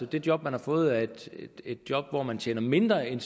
det job man har fået er et job hvor man tjener mindre end